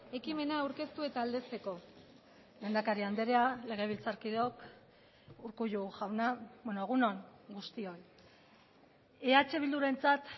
ekimena aurkeztu eta aldezteko lehendakari andrea legebiltzarkideok urkullu jauna egun on guztioi eh bildurentzat